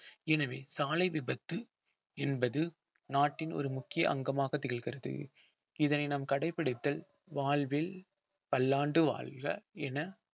எனவே சாலை விபத்து என்பது நாட்டின் ஒரு முக்கிய அங்கமாக திகழ்கிறது இதனை நாம் கடைபிடித்து வாழ்வில் பல்லாண்டு வாழ்க என